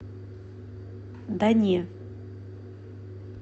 да не